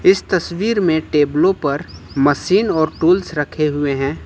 इस तस्वीर में टेबलो पर मशीन और टूल्स रखे हुए हैं।